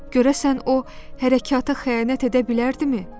Görəsən o hərəkata xəyanət edə bilərdimi?